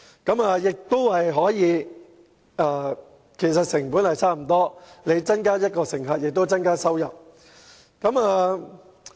由於所涉及的額外成本不多，故此增加1位乘客，亦可以增加收入。